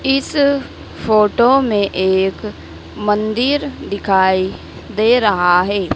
इस फोटो में एक मंदिर दिखाई दे रहा है।